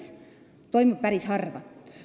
See toimub päris harva.